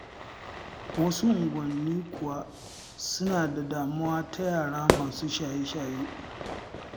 Wasu unguwannin kuwa suna da damuwa ta yara masu shaye-shaye.